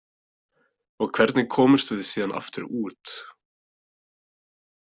Og hvernig komumst við síðan aftur út?